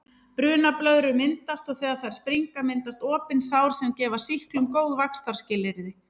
Brunablöðrur myndast og þegar þær springa myndast opin sár sem gefa sýklum góð vaxtarskilyrði.